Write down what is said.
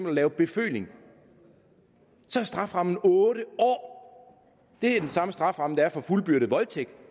at lave beføling så er strafferammen otte år det er den samme strafferamme der er for fuldbyrdet voldtægt